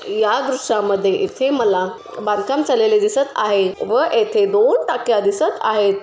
या दृश्यामध्ये इथे मला बांधकाम चाललेले दिसत आहे व येथे दोन टाक्या दिसत आहेत.